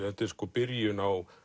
byrjun á